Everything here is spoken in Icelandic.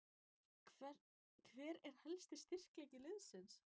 Hver er helsti styrkleiki liðsins?